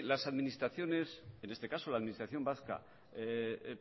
las administraciones en este caso la administración vasca